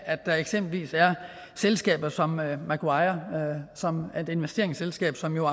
at der eksempelvis er selskaber som macquarie som er et investeringsselskab som jo